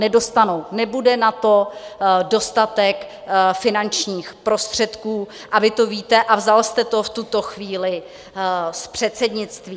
Nedostanou, nebude na to dostatek finančních prostředků a vy to víte a vzal jste to v tuto chvíli z předsednictví.